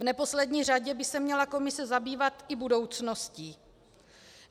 V neposlední řadě by se měla komise zabývat i budoucností.